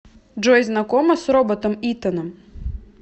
джой знакома с роботом итаном